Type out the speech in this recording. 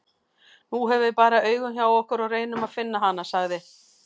Nú höfum við bara augun hjá okkur og reynum að finna hana, sagði